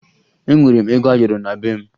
Enwere m ego ayọrọ na be m